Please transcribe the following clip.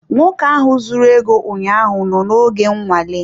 Nwoke ahụ zuru ego ụnyaahụ nọ oge nnwale.